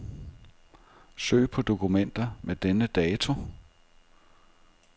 Søg på dokumenter med denne dato.